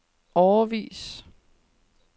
årevis